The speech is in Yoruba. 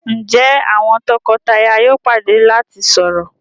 Njé àwọn toko-taya yóò pàdé lati sọrọ.?